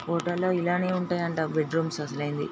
photo లో ఇలానే ఉంటుయండి ఆ బెడ్ రూమ్స్ అసలైనవి --